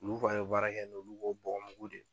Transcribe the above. Olu fana baara kɛ n'olu bɔgɔmugu de